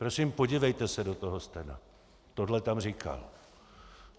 Prosím, podívejte se do toho stena, tohle tam říká.